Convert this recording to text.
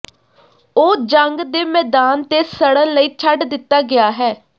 ਉਹ ਜੰਗ ਦੇ ਮੈਦਾਨ ਤੇ ਸੜਨ ਲਈ ਛੱਡ ਦਿੱਤਾ ਗਿਆ ਹੈ